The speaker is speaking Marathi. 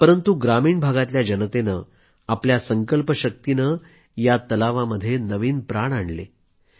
परंतु ग्रामीण भागातल्या जनतेनं आपल्या संकल्पशक्तीने या तलावामध्ये नवीन प्राण आणले